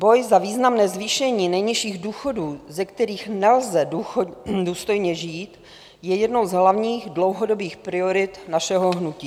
Boj za významné zvýšení nejnižších důchodů, ze kterých nelze důstojně žít, je jednou z hlavních dlouhodobých priorit našeho hnutí.